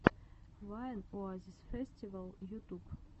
вайн оазисфэстивал ютуб